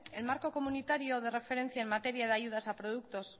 el marco comunitario de referencia en materia de ayudas a los productos